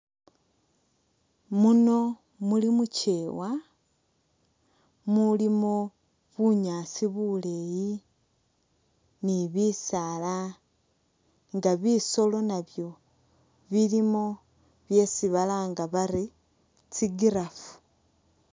Muno muli mu kyeewa mulimo bunyaasi buleeyi ni bisaala nga bisolo nabyo bilimu byesi balanga bari tsi giraffe.